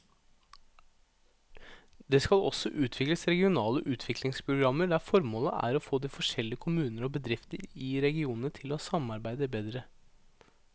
Det skal også utvikles regionale utviklingsprogrammer der formålet er å få de forskjellige kommuner og bedrifter i regionene til å samarbeide bedre.